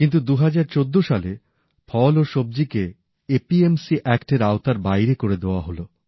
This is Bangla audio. কিন্তু ২০১৪ সালে ফল ও সবজি কে এপিএমসি আইনের আওতার বাইরে করে দেওয়া হল